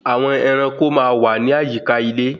Àwọn ẹranko máa wà ní àyíká ilé